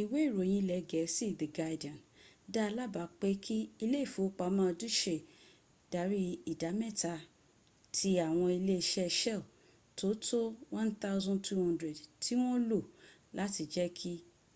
ìwé ìròyìn ilẹ̀ gẹ̀ẹ́sì the guardian da lábàá pé kí ilé ìfowópama deutsche darí ìdámkta ti àwọn ilé iṣk shell tó tó 1200 tí wọ́n lò láti jẹ́ kí